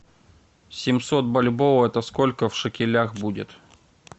семьсот бальбоа это сколько в шекелях будет